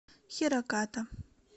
хираката